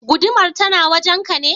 Gudumar tana wajen ka ne?